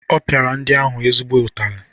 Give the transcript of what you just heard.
Ọ pịara ndị ahụ ezigbo ụtali.